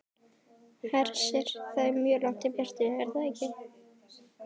Hersir: Það er mjög langt í burtu, er það ekki?